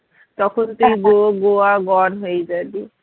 তখন তুই go Goa gone হয়ে জাবি